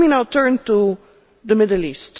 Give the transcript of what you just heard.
Let me now turn to the Middle East.